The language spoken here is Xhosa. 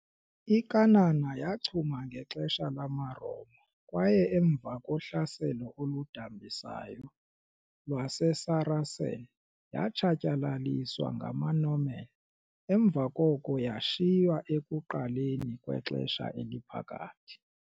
I-Cannae yachuma ngexesha lamaRoma kwaye emva kohlaselo oludambisayo lwaseSaracen, yatshatyalaliswa ngamaNorman emva koko yashiywa ekuqaleni kweXesha Eliphakathi.